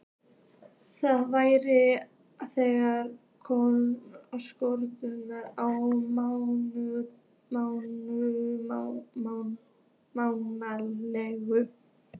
Það væri þeirra skoðun á málinu?